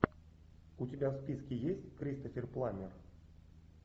у тебя в списке есть кристофер пламмер